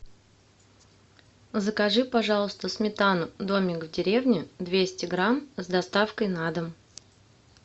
закажи пожалуйста сметану домик в деревне двести грамм с доставкой на дом